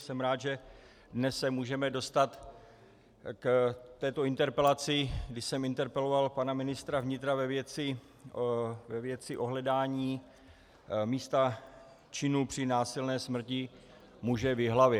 Jsem rád, že dnes se můžeme dostat k této interpelaci, kdy jsem interpeloval pana ministra vnitra ve věci ohledání místa činu při násilné smrti muže v Jihlavě.